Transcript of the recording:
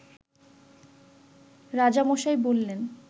রাজামশাই বললেন